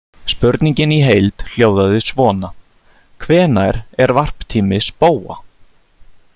Spurningin í heild hljóðaði svona: Hvenær er varptími spóa?